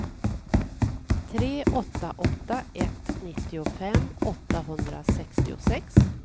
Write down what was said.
tre åtta åtta ett nittiofem åttahundrasextiosex